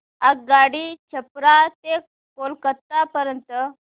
आगगाडी छपरा ते कोलकता पर्यंत